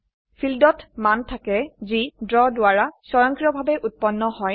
Fieldচত মান থাকে যি ড্ৰ দ্ৱাৰা স্বয়ংক্ৰিয়ভাবে উৎপন্ন হয়